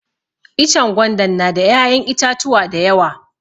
Ichen gwandan na da ya'yan itatuwa dayawa.